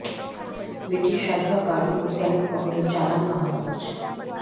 British সাঁজোয়া গাড়ি ও ট্যাংক বহরের চালান নামান হচ্ছে